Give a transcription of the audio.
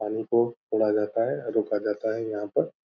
पानी को छोड़ा जाता है रोका जाता यहाँ पर।